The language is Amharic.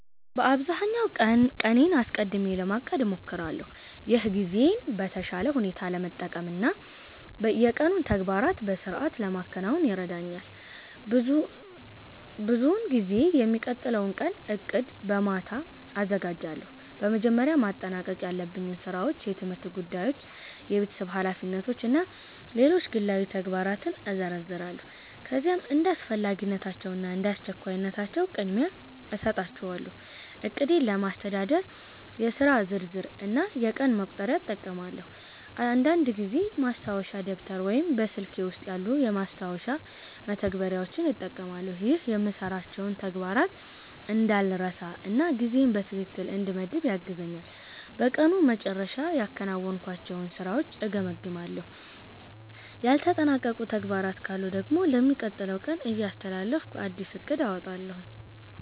በአብዛኛው ቀኔን አስቀድሜ ለማቀድ እሞክራለሁ። ይህ ጊዜዬን በተሻለ ሁኔታ ለመጠቀም እና የቀኑን ተግባራት በሥርዓት ለማከናወን ይረዳኛል። ብዙውን ጊዜ የሚቀጥለውን ቀን ዕቅድ በማታ አዘጋጃለሁ። በመጀመሪያ ማጠናቀቅ ያለብኝን ሥራዎች፣ የትምህርት ጉዳዮች፣ የቤተሰብ ኃላፊነቶች እና ሌሎች ግላዊ ተግባራትን እዘረዝራለሁ። ከዚያም እንደ አስፈላጊነታቸው እና እንደ አስቸኳይነታቸው ቅድሚያ እሰጣቸዋለሁ። ዕቅዴን ለማስተዳደር የሥራ ዝርዝር እና የቀን መቁጠሪያ እጠቀማለሁ። አንዳንድ ጊዜ ማስታወሻ ደብተር ወይም በስልኬ ውስጥ ያሉ የማስታወሻ መተግበሪያዎችን እጠቀማለሁ። ይህ የምሠራቸውን ተግባራት እንዳልረሳ እና ጊዜዬን በትክክል እንድመድብ ያግዘኛል። በቀኑ መጨረሻ ያከናወንኳቸውን ሥራዎች እገመግማለሁ። ያልተጠናቀቁ ተግባራት ካሉ ደግሞ ለሚቀጥለው ቀን እያስተላለፍኩ አዲስ ዕቅድ አወጣለሁ።